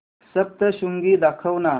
सप्तशृंगी दाखव ना